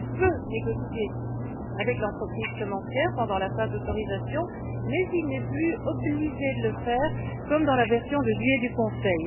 Il peut négocier avec l'entreprise semencière pendant la phase d'autorisation mais il n'est plus obligé de le faire comme dans la version de juillet du Conseil.